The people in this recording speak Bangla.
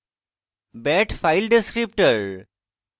bad file descriptor